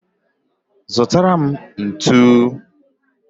Zutara m ntu